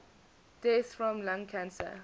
deaths from lung cancer